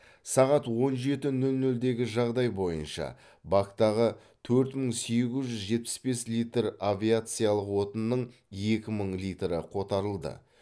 сағат он жеті нөл нөлдегі жағдай бойынша бактағы төрт мың сегіз жүз жетпіс бес литр авиациялық отынның екі мың литрі қотарылды